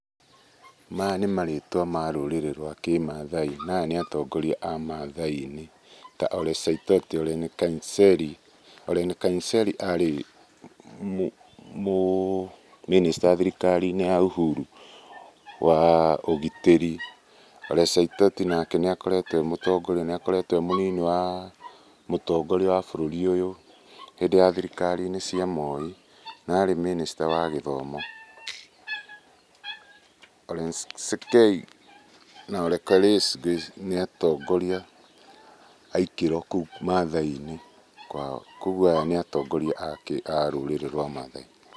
Maya nĩ marĩtwa marũrĩrĩ rwa kĩmathai. Na aya nĩ atongoria a mathai-inĩ. Ta Ole Saitoti, Ole Nkainserry, Ole Nkaiserry arĩ mũ mĩnĩsta thirikari-inĩ ya ũhuru wa ũgitĩri. Ole Saitoti nake nĩakoretwo e mũtongoria, nĩakoretwo e mũnini wa mũtongoria wa bũriri hĩndĩ ya thirikari-inĩ cia Moi, na arĩ mĩnĩsta wa gĩthomo. Ole Sankei na Ole Kores nĩatongoria a ikĩro kũu mathai-inĩ. Kuogwo aya nĩ atongoria a rũrĩrĩ rwa mathai.